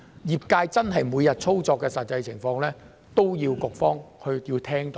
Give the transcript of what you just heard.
業界每日操作的實際情況，都需要局方聽到。